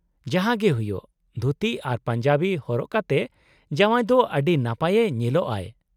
-ᱡᱟᱦᱟᱸ ᱜᱮ ᱦᱩᱭᱩᱜ, ᱫᱷᱩᱛᱤ ᱟᱨ ᱯᱟᱧᱡᱟᱵᱤ ᱦᱚᱨᱚᱜ ᱠᱟᱛᱮᱫ ᱡᱟᱶᱣᱭ ᱫᱚ ᱟᱹᱰᱤ ᱱᱟᱯᱟᱭᱮ ᱧᱮᱞᱚᱜᱼᱟᱭ ᱾